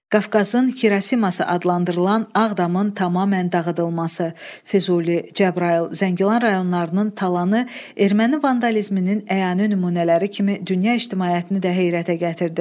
Qafqazın Xirosiması adlandırılan Ağdamın tamamilə dağıdılması, Füzuli, Cəbrayıl, Zəngilan rayonlarının talanı Erməni vandalizminin əyani nümunələri kimi dünya ictimaiyyətini də heyrətə gətirdi.